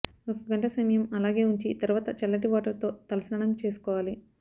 ఒక గంట సమయం అలాగే ఉంచి తర్వాత చల్లటి వాటర్ తో తలస్నానం చేసుకోవాలి